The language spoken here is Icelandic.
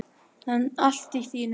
Allt í þínum anda.